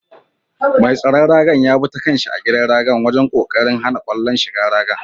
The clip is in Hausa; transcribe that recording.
Mai tsaron raga'n ya buga kan' shi a gidan raga wajen kokarin hana kwallon shigan raga.